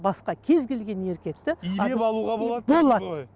басқа кез келген еркекті илеп алуға болады болады